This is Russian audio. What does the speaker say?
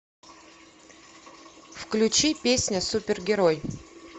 включи песня супергерой